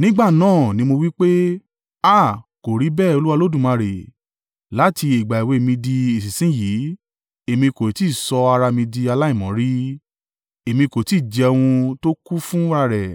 Nígbà náà ni mo wí pé, “Háà! Kò rí bẹ́ẹ̀ Olúwa Olódùmarè! Láti ìgbà èwe mi di ìsinsin yìí èmi kò tí ì sọ ara mi di aláìmọ́ rí. Èmi kò tí ì jẹ ohun tó kú fúnra rẹ̀